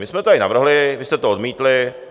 My jsme to tady navrhli, vy jste to odmítli.